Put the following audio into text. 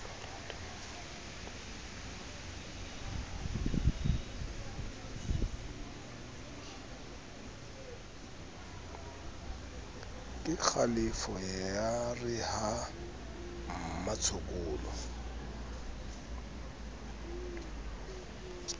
kekgalefo ya re ha mmatshokolo